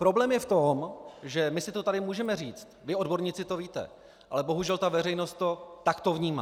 Problém je v tom, že my si to tady můžeme říct, vy odborníci to víte, ale bohužel ta veřejnost to takto vnímá.